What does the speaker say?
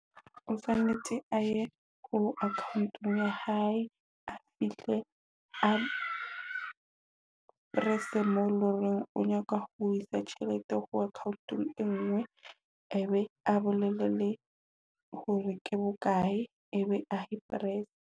O tshwanetse a ye ko account-ong ya hae a fihle mo a press-e lo e loreng o nyaka ho isa tjhelete ho account-ong engwe e be a bolelle hore ke bokae ebe a e press-e.